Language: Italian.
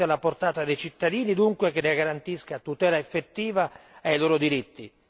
Una giustizia alla portata dei cittadini dunque che ne garantisca la tutela effettiva dei loro diritti.